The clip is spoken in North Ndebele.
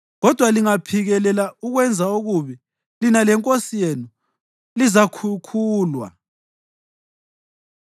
Kodwa lingaphikelela ukwenza okubi, lina lenkosi yenu lizakhukhulwa.”